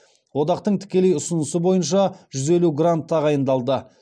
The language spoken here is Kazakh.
одақтың тікелей ұсынысы бойынша жүз елу грант тағайындалды